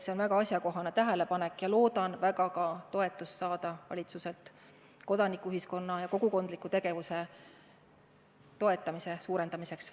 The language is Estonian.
See oli väga asjakohane tähelepanek ja ma loodan väga saada ka valitsuse toetust kodanikuühiskonna ja kogukondliku tegevuse suuremaks toetamiseks.